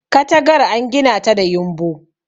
katagar an gina ta da yumbu